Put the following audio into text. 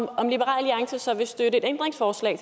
om liberal alliance så vil støtte et ændringsforslag